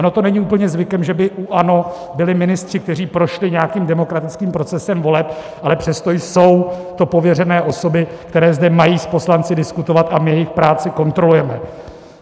Ono to není úplně zvykem, že by u ANO byli ministři, kteří prošli nějakým demokratickým procesem voleb, ale přesto jsou to pověřené osoby, které zde mají s poslanci diskutovat, a my jejich práci kontrolujeme.